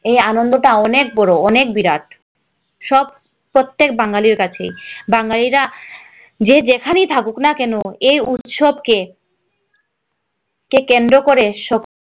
এই আনন্দ টা অনেক বড় অনেক বিরাট সব প্রত্যেক বাঙালির কাছে সেটা বাঙালিরা যে যেখানেই হোক না কেন এই উৎসব কে কে কেন্দ্র করে সব